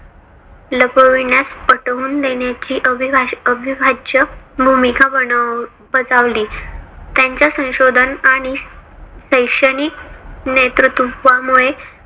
लपविण्यास पटवून देण्याची अविभाष अविभाज्य भूमिका बनव बजावली. त्यांच्या संशोधन आणि शैक्षणिक नेतृत्वमुळे